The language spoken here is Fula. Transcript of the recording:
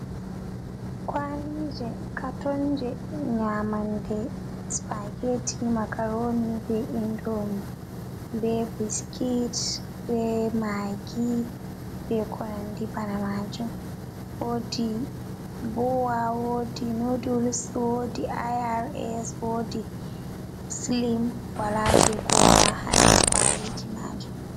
Kwalije katonji nyamande, spageti, makaroni be indomi, ɓe biskit, be magi, be konandi bana maji. Wodi bowa, wodi noduls, wodi irs, wodi slem, walaje kowala ha nder kwaliji maji.